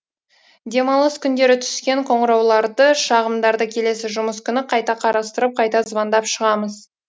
демалыс күндері түскен қоңырауларды шағымдарды келесі жұмыс күні қайта қарастырып қайта звондап шығамыз